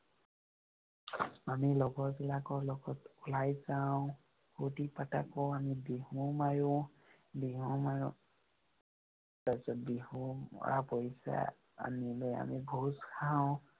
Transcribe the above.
আমি লগৰবিলাকৰ লগত ওলাই যাওঁ। ফুৰ্তি ফাৰ্তা কৰো, আমি বিহু মাৰো। বিহু মাৰো। তাৰপিছত বিহু মৰা পইছা আনি লৈ আমি ভোজ খাওঁ।